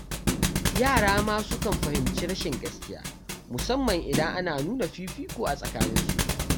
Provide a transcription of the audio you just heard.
Yara ma sukan fahimci rashin gaskiya, musamman idan ana nuna fifiko a tsakaninsu.